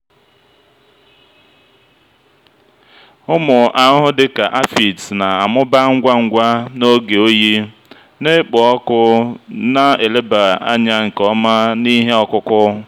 ụmụ ahụhụ dị ka aphids na-amụba ngwa ngwa n'oge oyi na-ekpo ọkụ na-eleba anya nke ọma na ihe ọkụkụ.